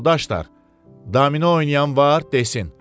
Yoldaşlar, domino oynayan var, desin.